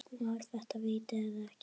Var þetta víti eða ekki?